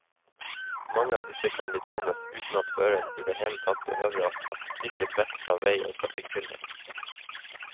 Mange av disse kan betjenes uten at føreren i det hele tatt behøver å ta blikket vekk fra vei og trafikkbilde.